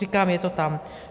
Říkám, je to tam.